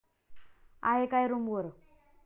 आहे काय रूमवर?